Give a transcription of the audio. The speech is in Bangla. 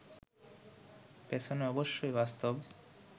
পেছনে অবশ্য বাস্তব